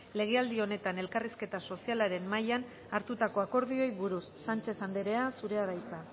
legealdi honetan elkarrizketa sozialaren mahaian hartutako akordioei buruz sánchez andrea zurea da hitza